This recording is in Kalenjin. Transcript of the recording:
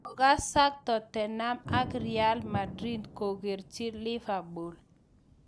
Kokasak Tottenham ak R Madrid, kokokerchi Liverpool